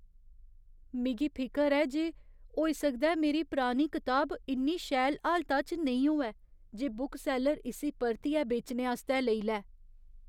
मिगी फिकर ऐ जे होई सकदा ऐ मेरी पुरानी कताब इन्नी शैल हालता च नेईं होऐ जे बुकसैल्लर इस्सी परतियै बेचने आस्तै लेई लै।